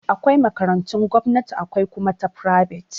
Akwai makarantun gomnati akwai kuma ta fribet.